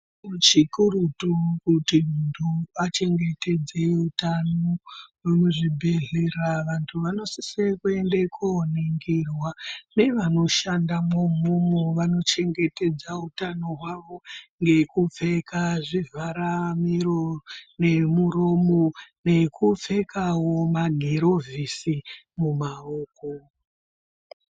Chikurutu kuti muntu achengetedze utano muzvi bhedhlera vantu vanosise kuende konongirwa nevano shandamwo umomo vano chengetedza utano hwavo ngeku pfeka zvivhara miro nemuromo nekupfekawo ma girovhisi mumawoko.